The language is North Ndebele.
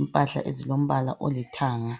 impahla ezilombala olithanga.